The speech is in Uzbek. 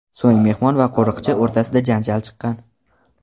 So‘ng mehmon va qo‘riqchi o‘rtasida janjal chiqqan.